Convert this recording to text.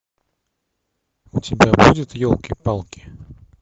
у тебя будет елки палки